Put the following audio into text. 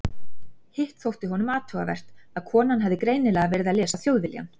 Hitt þótti honum athugavert að konan hafði greinilega verið að lesa Þjóðviljann.